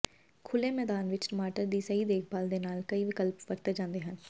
ਖੁੱਲੇ ਮੈਦਾਨ ਵਿਚ ਟਮਾਟਰ ਦੀ ਸਹੀ ਦੇਖਭਾਲ ਦੇ ਨਾਲ ਕਈ ਵਿਕਲਪ ਵਰਤੇ ਜਾਂਦੇ ਹਨ